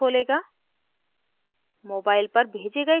यह एक web page खोलेगा